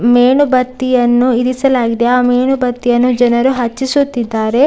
ಮೇಣಬತ್ತಿಯನ್ನು ಇರಿಸಲಾಗಿದೆ ಆಮೇಣಬತ್ತಿಯನ್ನು ಜನರು ಹಚ್ಚಿಸುತ್ತಿದ್ದಾರೆ .